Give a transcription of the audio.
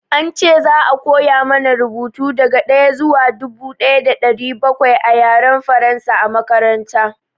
An ce za a koya mana rubuta daga ɗaya zuwa dubu ɗaya da ɗari bakwai a Yaren Faransa a makaranta.